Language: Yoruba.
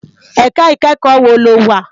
Èká ikèékò wó ló wá?